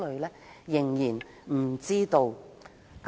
我們仍然不知道。